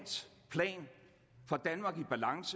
lad